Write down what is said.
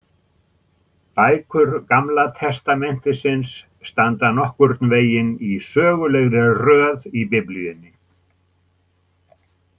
Bækur Gamla testamentisins standa nokkurn veginn í sögulegri röð í Biblíunni.